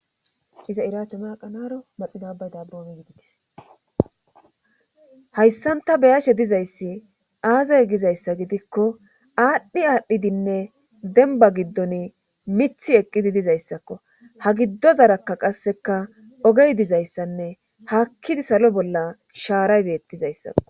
Kiza iratama qanaro maxidabay dabboomi gididis hayssanta beyashe dizayssi aazay gizayssa gidikko aadhdhi aadhdhidinne denba giddon mithi eqqidi dizayssakko ha giddo zarakka qasseka ogey dizayssanne hakkidi salo bolla shaaray beettizayssako